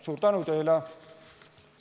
Suur tänu teile!